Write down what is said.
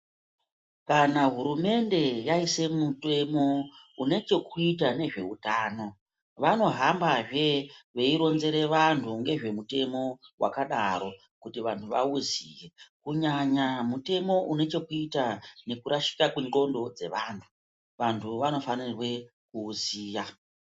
Kana hurumende yaise mutemo une chekuita nezveutano vanohambazve veironzera vanhu nezvemutemo wakadaro kuti vanhu vauziye kunyanya mutemo une chekuita nekurashika kendxondo dzevantu vantu vanofanirwe kuuziya.